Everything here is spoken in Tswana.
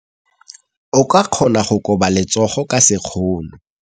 O ka kgona go koba letsogo ka sekgono.